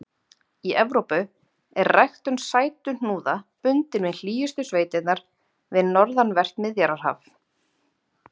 Í Evrópu er ræktun sætuhnúða bundin við hlýjustu sveitirnar við norðanvert Miðjarðarhaf.